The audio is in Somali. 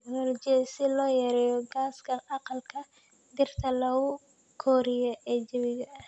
Dalagyadu waxay gacan ka geystaan ??cilmi-baarista tignoolajiyada si loo yareeyo gaaska aqalka dhirta lagu koriyo ee jawiga.